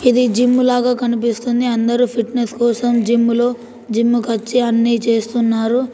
ఇది జిమ్ లాగా కనిపిస్తుంది అందరు ఫిట్నెస్ కోసం జిమ్ లో జిమ్ కొచ్చి అన్ని చేస్తున్నారు.